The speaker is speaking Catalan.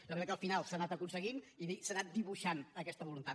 jo crec que al final s’ha anat aconseguint i s’ha anat dibuixant aquesta voluntat